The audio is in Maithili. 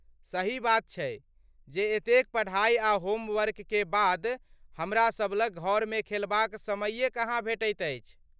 सही बात छैजे एतेक पढा़ई आ होमवर्क के बाद हमरा सभ लग घरमे खेलबाक समैये कहाँ भेटैत अछि।